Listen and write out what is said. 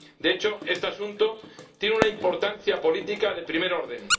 De hecho, este asunto tiene una importancia política de primer orden.